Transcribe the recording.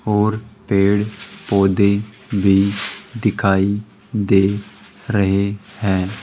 और पेड़ पौधे भी दिखाई दे रहे हैं।